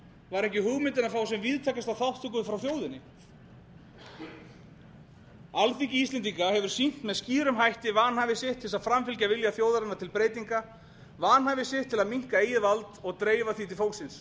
var ekki hugmyndin að fá sem víðtækasta þátttöku frá þjóðinni alþingi íslendinga hefur sýnt með skýrum hætti vanhæfi sitt til þess að framfylgja vilja þjóðarinnar til breytinga vanhæfi sitt til að minnka eigið vald og dreifa því til fólksins